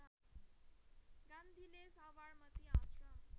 गान्धीले साबरमती आश्रम